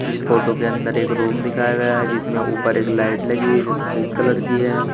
इस फोटो के अंदर एक रूम दिखाया गया है जिसमें ऊपर एक लाइट लगी हुई जो सफेद कलर की है।